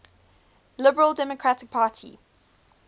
liberal democratic party